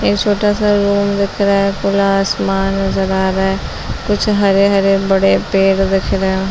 ए छोटा -सा अम दिख रहा है खुला आसमान नजर रहा है कुछ हरे-हरे बड़े पेड़ दिख रहे है |